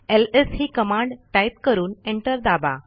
LS ही command type करून enter दाबा